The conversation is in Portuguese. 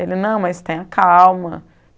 Ele, não, mas tenha calma.